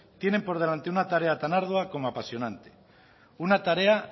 tienen por delante una tarea tan ardua como apasionante una tarea